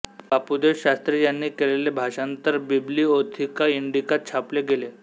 बापूदेव शास्त्री यांनी केलेले भाषांतर बिब्लिओथिका इंडिकांत छापले गेले